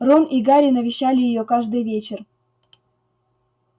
рон и гарри навещали её каждый вечер